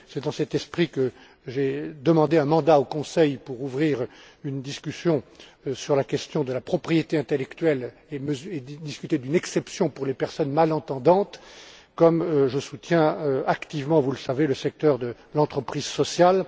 C'est dans cet esprit que j'ai demandé un mandat au Conseil pour ouvrir une discussion sur la question de la propriété intellectuelle et discuter d'une exception pour les personnes malentendantes, comme je soutiens activement, vous le savez, le secteur de l'entreprise sociale.